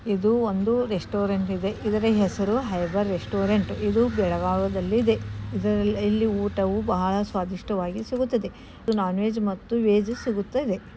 ಇದು ಒಂದು ರೆಸ್ಟೋರೆಂಟ ಇದೆ ಇದರ ಹೆಸರು ಹೈಬರ ರೆಸ್ಟೋರೆಂಟ ಇದು ಬೆಳಗಾಂ ದಲ್ಲಿ ಇದೆ ಇಲ್ಲಿ ಊಟವ ಬಹಳ ಸ್ವಾದಿಷ್ಟವಾಗಿ ಸಿಗೋತದ ಇದು ನೋನ್ ವೆಜ್ ಮತು ವೆಜ್ ಸಿಗೋತದೆ.